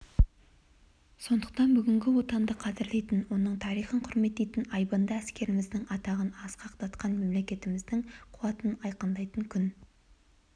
сондықтан бүгін отанды қадірлейтін оның тарихын құрметтейтін айбынды әскеріміздің атағын асқақтатқан мемлекетіміздің қуатын айғақтайтын күн